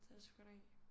Det er det sgu ikke